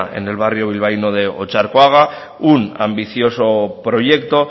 en el barrio bilbaíno de otxarkoaga un ambicioso proyecto